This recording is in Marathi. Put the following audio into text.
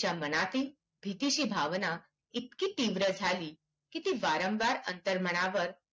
ज्या मनातील स्थितीची भावना इतकी तीव्र झाली की ती वारंवार अंतर्मनावर